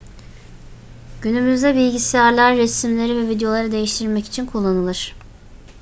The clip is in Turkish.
günümüzde bilgisayarlar resimleri ve videoları değiştirmek için kullanılır